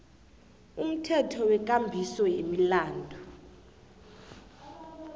umthetho wekambiso yemilandu